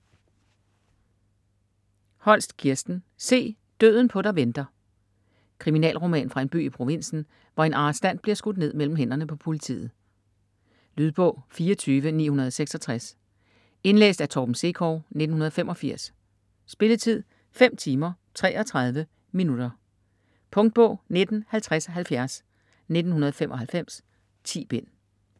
Holst, Kirsten: Se, døden på dig venter Kriminalroman fra en by i provinsen, hvor en arrestant bliver skudt ned mellem hænderne på politiet. Lydbog 24966 Indlæst af Torben Sekov, 1985. Spilletid: 5 timer, 33 minutter. Punktbog 195070 1995. 10 bind.